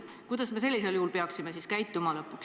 Kuidas me sellisel juhul peaksime siis käituma?